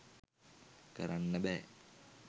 කරන්න බෑ.